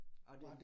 Og det